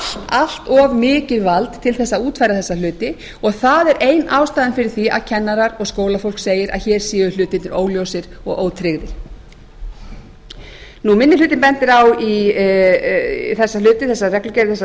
allt of mikið vald til að útfæra þessa hluti og það er ein ástæðan fyrir því að kennarar og skólafólk segir að hér séu hlutirnir óljósir og ótryggðir minni hlutinn bendir á þessar